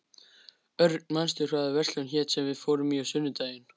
Örn, manstu hvað verslunin hét sem við fórum í á sunnudaginn?